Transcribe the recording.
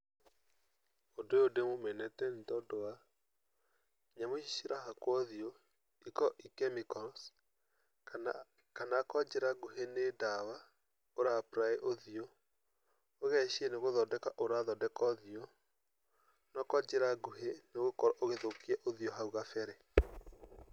Ũndũ ũyũ ndĩũmenete nĩtondũ wa nyamũ ici irahakwo ũthiũ ikoragwo i chemicals kana kwa njĩra nguhĩ nĩ ndawa ũraaprĩ ũthiũ, ũgeciria nĩgũthondeka ũrathondeka ũthiũ, no kwa njĩra nguhi nĩ gũkorwo ũgĩthũkia ũthiũ hau gabere.